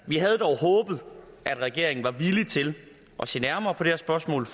vi havde dog håbet at regeringen var villig til at se nærmere på det her spørgsmål